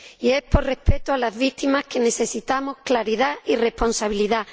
Y por respeto a las víctimas necesitamos claridad y responsabilidad.